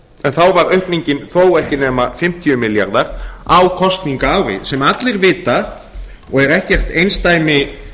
en þá var aukningin þó ekki nema fimmtíu milljarðar á kosningaári sem allir vita og er ekkert einsdæmi